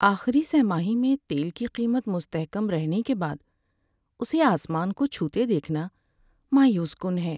آخری سہ ماہی میں تیل کی قیمت مستحکم رہنے کے بعد اسے آسمان کو چھوتے دیکھنا مایوس کن ہے۔